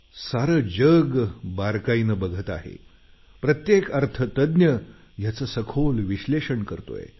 सारं जग बारकाईनं बघत आहे प्रत्येक अर्थतज्ञ याचं सखोल विश्लेषण करतोय